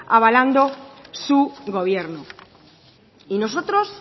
avalando su gobierno y nosotros